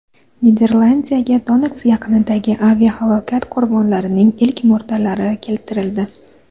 Niderlandiyaga Donetsk yaqinidagi aviahalokat qurbonlarining ilk murdalari keltirildi.